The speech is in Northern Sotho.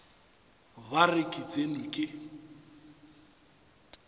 ba re ke tsenwe ke